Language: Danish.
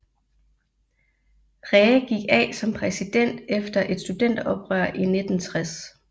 Rhee gik af som præsident efter et studenteroprør i 1960